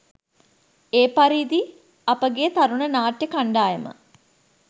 එපරිදි අපගේ තරුණ නාට්‍ය කණ්ඩායම